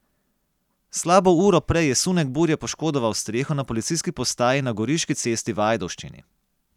Slabo uro prej je sunek burje poškodoval streho na policijski postaji na Goriški cesti v Ajdovščini.